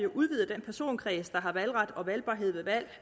udvider den personkreds der har valgret og valgbarhed ved valg